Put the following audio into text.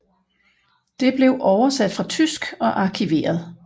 Det blev oversat fra tysk og arkiveret